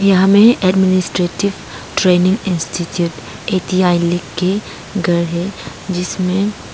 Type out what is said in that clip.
हमें administrative training institute A T I लिख के घर है जिसमें--